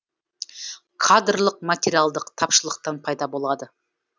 кадрлық материалдық тапшылықтан пайда болады